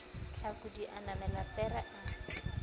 hlakodi a namela pere a